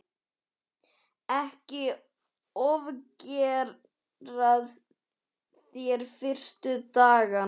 Ekki ofgera þér fyrstu dagana.